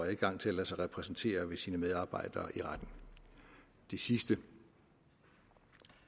adgang til at lade sig repræsentere ved sine medarbejdere det sidste